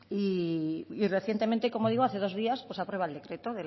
y recientemente como digo hace dos días pues aprueba el decreto